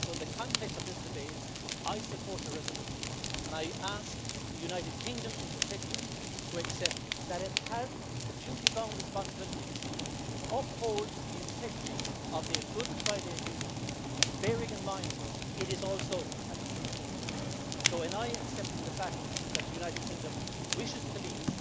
So, in the context of this debate, I support the resolution and I ask the United Kingdom, in particular, to accept that it has duty bound responsibilities to uphold the integrity of the Good Friday Agreement, bearing in mind that it is also a peace process. So when I accept the fact that the United Kingdom wishes to leave